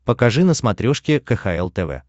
покажи на смотрешке кхл тв